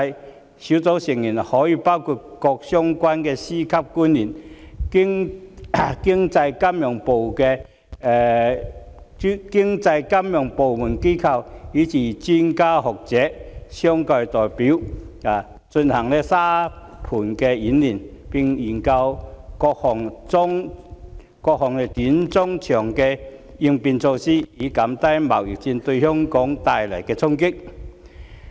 專責小組的成員可以包括各相關的司局級官員、經濟金融部門和機構人員，以至專家學者、商界代表等，進行沙盤演練，並研究各項短、中、長期應變措施，以減低貿易戰對香港帶來的衝擊。